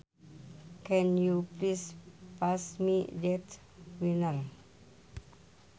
Can you please pass me that wiener